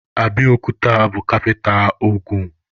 Abiokuta bụ kapita Ogun.